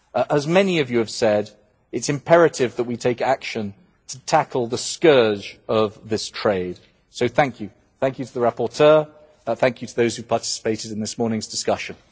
As many of you have said, it is imperative that we take action to tackle the scourge of this trade. So thank you to the rapporteur and thank you to those who participated in this morning's discussion.